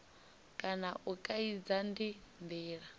kana u kaidza ndi ndila